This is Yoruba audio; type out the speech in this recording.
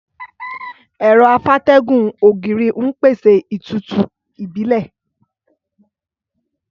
Ẹ̀rọ afátẹ́gùn ògiri ń pèsè ìtútù ìbílẹ̀.